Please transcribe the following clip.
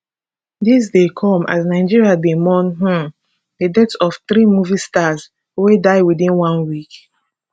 dis dey come as nigeria dey mourn um di death of three movie stars wey die within one week